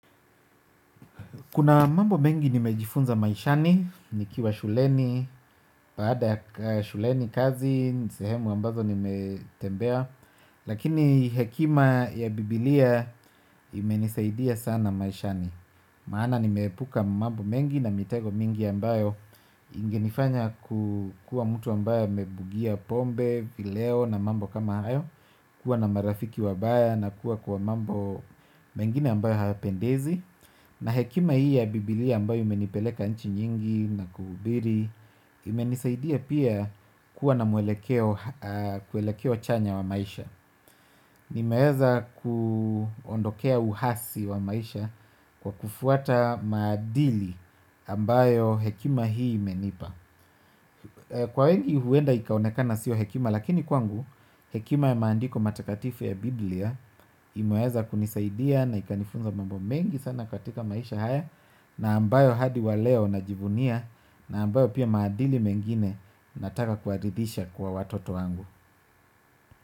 Kuna mambo mengi nimejifunza maishani, nikiwa shuleni, baada ya shuleni kazi, sehemu ambazo nimetembea. Lakini hekima ya bibilia imenisaidia sana maishani. Maana nimeepuka mambo mengi na mitego mingi ambayo ingenifanya kukuwa mtu ambaye amebugia pombe, vileo na mambo kama hayo. Kuwa na marafiki wabaya na kuwa kwa mambo mengine ambayo hayapendezi na hekima hii ya Bibilia ambayo imenipeleka nchi nyingi na kuhubiri. Imenisaidia pia kuwa na mwelekeo chanya wa maisha. Nimeweza kuondokea uasi wa maisha kwa kufuata maadili ambayo hekima hii imenipa kwa wengi huenda ikaonekana siyo hekima lakini kwangu hekima ya maandiko matakatifu ya Bibilia. Imeweza kunisaidia na ikanifunza mambo mengi sana katika maisha haya. Na ambayo hadi wa leo najivunia na ambayo pia maadili mengine nataka kuaridhisha kwa watoto wangu.